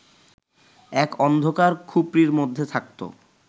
এক অন্ধকার খুপরির মধ্যে থাকত